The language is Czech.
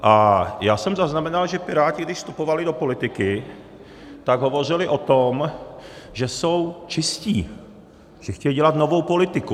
A já jsem zaznamenal, že Piráti, když vstupovali do politiky, tak hovořili o tom, že jsou čistí, že chtějí dělat novou politiku.